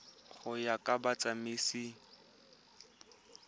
go ya ka ditsamaiso tsa